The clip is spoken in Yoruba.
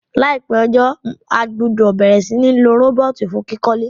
Láìpé ojó, a gbúdò bẹ̀rẹ̀ si ni lo robot fun kíkólé